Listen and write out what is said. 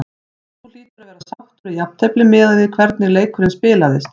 Þú hlýtur að vera sáttur við jafntefli miðað við hvernig leikurinn spilaðist?